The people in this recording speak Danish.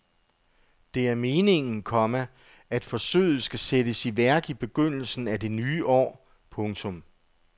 Det er meningen, komma at forsøget skal sættes i værk i begyndelsen af det nye år. punktum